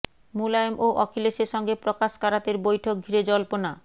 মুলায়ম ও অখিলেশের সঙ্গে প্রকাশ কারাতের বৈঠক ঘিরে জল্পনা